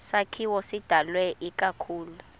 sakhiwo sidalwe ikakhulu